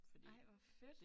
Ej hvor fedt